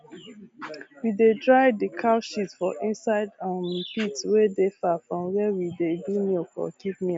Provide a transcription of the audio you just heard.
we dey dry d cow shit for inside um pit wey dey far from where we dey do milk or keep milk